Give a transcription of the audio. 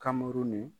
Kamuru ni